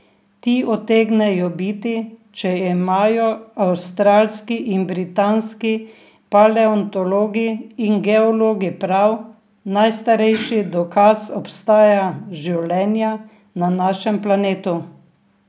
Ti utegnejo biti, če imajo avstralski in britanski paleontologi in geologi prav, najstarejši dokaz obstoja življenja na našem planetu.